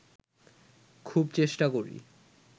খুব চেষ্টা করি